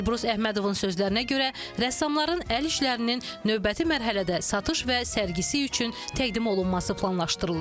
Elbrus Əhmədovun sözlərinə görə, rəssamların əl işlərinin növbəti mərhələdə satış və sərgisi üçün təqdim olunması planlaşdırılır.